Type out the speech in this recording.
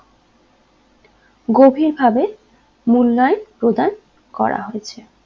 গভীরভাবে মূল্যায়ন প্রদান করা হয়েছে